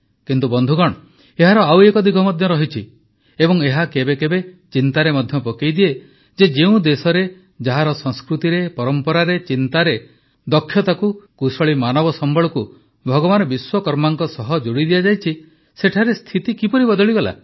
କିନ୍ତୁ ବନ୍ଧୁଗଣ ଏହାର ଆଉ ଏକ ଦିଗ ମଧ୍ୟ ଅଛି ଏବଂ ଏହା କେବେ କେବେ ଚିନ୍ତାରେ ମଧ୍ୟ ପକାଇଦିଏ ଯେ ଯେଉଁ ଦେଶରେ ଯାହାର ସଂସ୍କୃତିରେ ପରମ୍ପରାରେ ଚିନ୍ତାରେ ଦକ୍ଷତାକୁ କୁଶଳୀ ମାନବସମ୍ବଳକୁ ଭଗବାନ ବିଶ୍ୱକର୍ମାଙ୍କ ସହ ଯୋଡ଼ିଦିଆଯାଇଛି ସେଠାରେ ସ୍ଥିତି କିପରି ବଦଳିଗଲା